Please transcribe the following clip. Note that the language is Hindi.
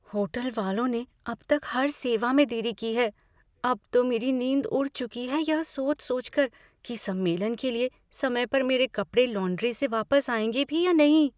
होटल वालों ने अब तक हर सेवा में देरी की है। अब तो मेरी नींद उड़ चुकी है यह सोच सोचकर कि सम्मलेन के लिए समय पर मेरे कपड़े लॉन्ड्री से वापिस आएँगे भी या नहीं।